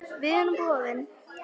Við erum boðin.